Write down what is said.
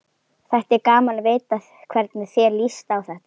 Þætti gaman að vita hvernig þér líst á þetta?